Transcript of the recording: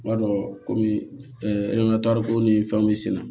B'a dɔn komi ko ni fɛnw bɛ senna